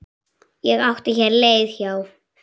Ég átti hér leið hjá.